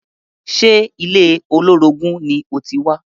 Ṣe ilé olórogún ni o ti wá?